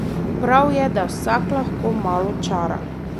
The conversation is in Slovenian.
Prav je, da vsak lahko malo čara.